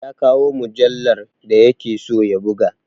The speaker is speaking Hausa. Ya kawo mujallar da ya ke so ya buga!